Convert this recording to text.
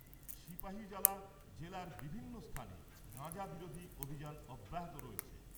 সিপাহীজলা জেলার বিভিন্ন স্থানে গাঁজা বিরোধী অভিযান অব্যাহত রয়েছে।